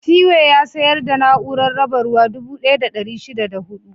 Cway ya sayar da na'urar raba ruwa dubu ɗaya da ɗari shida da huɗu.